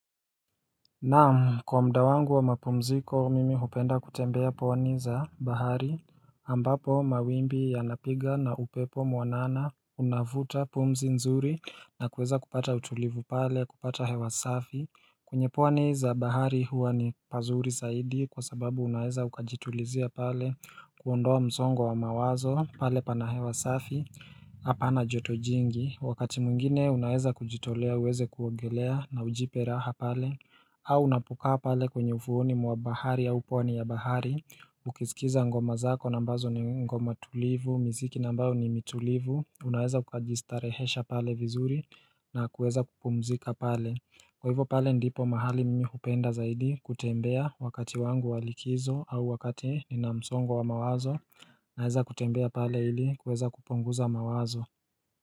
Naam kwa muda wangu wa mapumziko mimi hupenda kutembea pwani za bahari ambapo mawimbi ya napiga na upepo mwanana unavuta pumzi nzuri na kuweza kupata utulivu pale kupata hewa safi penye pwani za bahari huwa ni pazuri zaidi kwa sababu unaeza ukajitulizia pale kuondoa mzongo wa mawazo pale pana hewa safi Hapa na joto jingi wakati mwingine unaweza kujitolea uweze kuongelea na ujipe raha pale au unapokaa pale kwenye ufuoni mwa bahari ya uponi ya bahari Ukisikiza ngoma zako na ambazo ni ngoma tulivu, miziki na ambayo ni mitulivu Unaweza ukajistarehesha pale vizuri na kuweza kupumzika pale Kwa hivyo pale ndipo mahali mimi hupenda zaidi kutembea wakati wangu wa likizo au wakati nina msongo wa mawazo Naeza kutembea pale ili kuweza kupunguza mawazo.